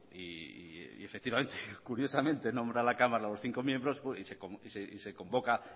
y efectivamente curiosamente nombra la cámara a los cinco miembros y se convoca